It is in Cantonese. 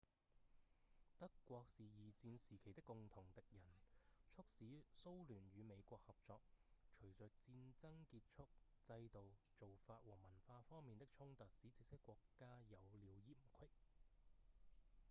德國是二戰時期的共同敵人促使蘇聯與美國合作隨著戰爭結束制度、做法和文化方面的衝突使這些國家有了嫌隙